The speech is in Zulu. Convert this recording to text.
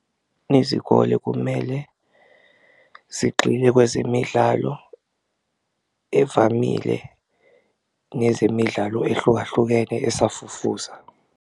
Izikole kumele zigxile kwezemidlalo evamile nezemidlalo ehlukahlukene esafufusa.